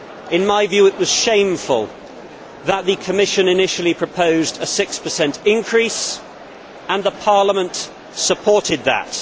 In my view it was shameful that the Commission initially proposed a 6 increase and Parliament supported that.